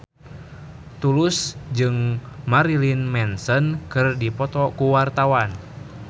Tulus jeung Marilyn Manson keur dipoto ku wartawan